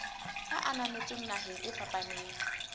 e ananetsweng naheng e fapaneng